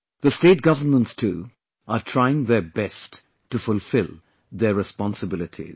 The State Governments too are trying their best to fulfill their responsibilities